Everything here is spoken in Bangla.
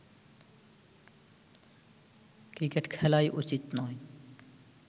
ক্রিকেট খেলাই উচিৎ নয়